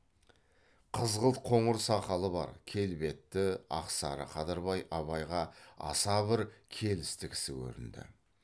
қызғылт қоңыр сақалы бар келбетті ақсары қадырбай абайға аса бір келісті кісі көрінді